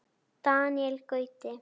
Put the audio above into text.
Daníel Gauti.